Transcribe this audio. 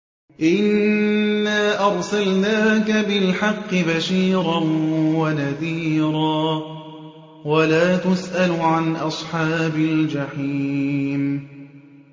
إِنَّا أَرْسَلْنَاكَ بِالْحَقِّ بَشِيرًا وَنَذِيرًا ۖ وَلَا تُسْأَلُ عَنْ أَصْحَابِ الْجَحِيمِ